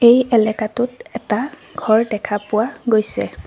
এই এলেকাটোত এটা ঘৰ দেখা পোৱা গৈছে।